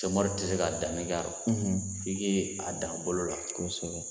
Semɔri tɛ se ka danni k'a rɔ fo i k'i a dan bolo la kosɛbɛ.